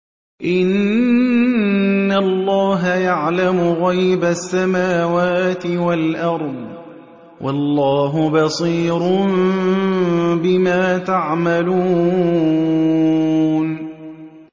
إِنَّ اللَّهَ يَعْلَمُ غَيْبَ السَّمَاوَاتِ وَالْأَرْضِ ۚ وَاللَّهُ بَصِيرٌ بِمَا تَعْمَلُونَ